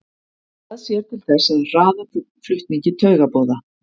það sér til þess að hraða flutningi taugaboða